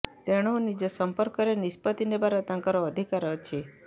ତେଣୁ ନିଜ ସମ୍ପର୍କରେ ନିଷ୍ପତ୍ତି ନେବାର ତାଙ୍କର ଅଧିକାର ଅଛି